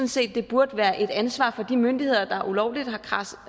set at det burde være et ansvar for de myndigheder der ulovligt har kradset